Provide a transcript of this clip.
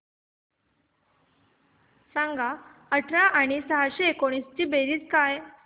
सांग काय अठरा बेरीज सहाशे एकोणीस